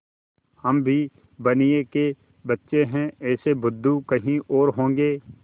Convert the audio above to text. हम भी बनिये के बच्चे हैं ऐसे बुद्धू कहीं और होंगे